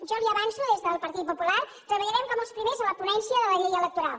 jo li ho avanço des del partit popular treballarem com els primers a la ponència de la llei electoral